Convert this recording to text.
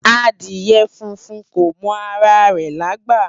Adìẹ funfun kò mọ ara rẹ̀lágbà